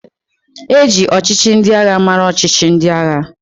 E ji ọchịchị ndị agha mara ọchịchị ndị agha.